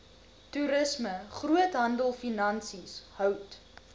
toerisme groothandelfinansies hout